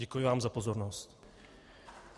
Děkuji vám za pozornost.